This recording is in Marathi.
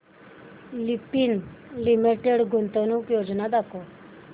लुपिन लिमिटेड गुंतवणूक योजना दाखव